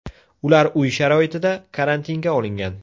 Ular uy sharoitida karantinga olingan.